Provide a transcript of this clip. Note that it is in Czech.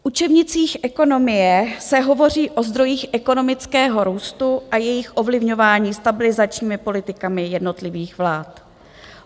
V učebnicích ekonomie se hovoří o zdrojích ekonomického růstu a jejich ovlivňování stabilizačními politikami jednotlivých vlád.